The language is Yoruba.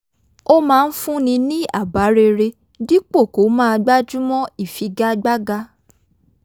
ó máa ń fúnni ní àbá rere dípò kó máa gbájúmọ́ ìfi-ga-gbága